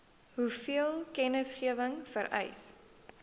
hoeveel kennisgewing vereis